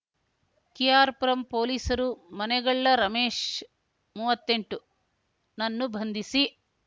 K R Puram ಪೊಲೀಸರು ಮನೆಗಳ್ಳ ರಮೇಶ್ ಮುವತ್ತೆಂಟುನನ್ನು ಬಂಧಿಸಿ